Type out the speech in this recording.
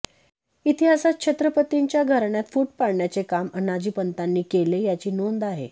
इतिहासात छत्रपतींच्या घराण्यात फुट पाडण्याचे काम अनाजी पंतांनी केले याची नोंद आहे